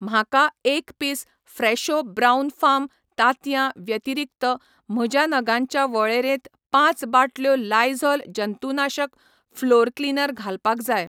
म्हाका एक पीस फ्रेशो ब्राऊन फार्म तांतयां व्यतिरीक्त म्हज्या नगांच्या वळेरेंत पांच बाटल्यो लायझॉल जंतुनाशक फलोअर क्लीनर घालपाक जाय.